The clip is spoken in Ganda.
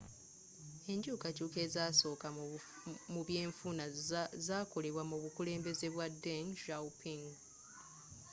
enkyukakyuka ezzasoka mu byenfuna z'akolebwa mu bukulembezze bwa deng xiaoping